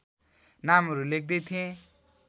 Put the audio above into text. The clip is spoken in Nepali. नामहरू लेख्दै थिएँ